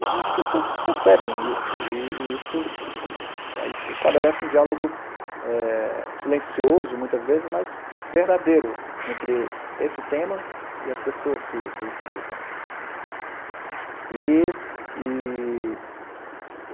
E aí as pessoas percebem isso, e e isso... aí se estabelece um diálogo, eh, ilencioso, muitas vezes, mas verdadeiro, entre esse tema e as pessoas que que o escutam. E e